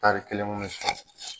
Tari kelen kun be